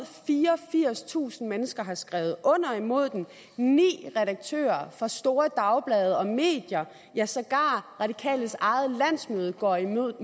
fireogfirstusind mennesker har skrevet under er imod den ni redaktører fra store dagblade og medier ja sågar radikales eget landsmøde går imod